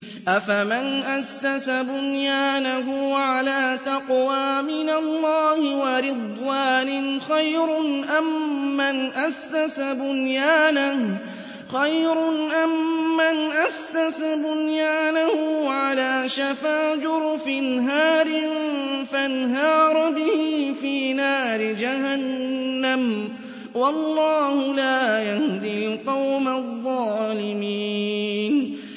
أَفَمَنْ أَسَّسَ بُنْيَانَهُ عَلَىٰ تَقْوَىٰ مِنَ اللَّهِ وَرِضْوَانٍ خَيْرٌ أَم مَّنْ أَسَّسَ بُنْيَانَهُ عَلَىٰ شَفَا جُرُفٍ هَارٍ فَانْهَارَ بِهِ فِي نَارِ جَهَنَّمَ ۗ وَاللَّهُ لَا يَهْدِي الْقَوْمَ الظَّالِمِينَ